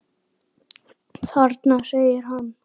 Þarna! segir hann.